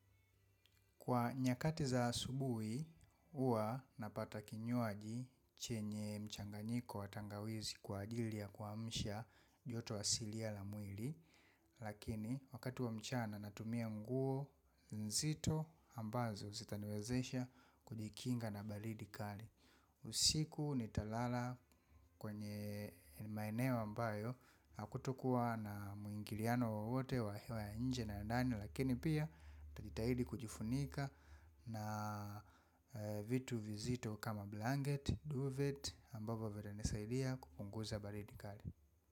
Kwa nyakati za asubuhi, huwa napata kinywaji chenye mchanganyiko wa tangawizi kwa ajili ya kuamsha joto asilia la mwili. Lakini wakati wa mchana natumia nguo nzito ambazo zitaniwezesha kujikinga na baridi kali. Usiku nitalala kwenye maeneo ambayo hakutokuwa na mwingiliano wowote wa nje na ya ndani. Lakini pia nitajitahidi kujifunika na vitu vizito kama blanket, duvet ambavyo vitanisaidia kupunguza baridi kali.